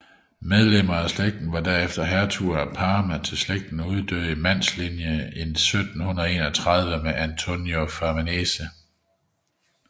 Medlemmer af slægten var herefter hertuger af Parma til slægten uddøde i mandslinjen i 1731 med Antonio Farnese